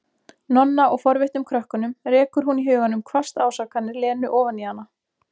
Nonna og forvitnum krökkunum, rekur hún í huganum hvasst ásakanir Lenu ofan í hana.